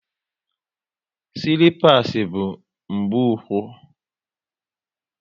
Silipas bu mgbu úkwú